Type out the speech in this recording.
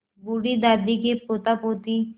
बूढ़ी दादी के पोतापोती